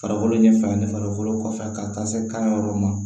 Farikolo ɲɛ fila ni farikolo kɔfɛ ka taa se kan yɔrɔ ma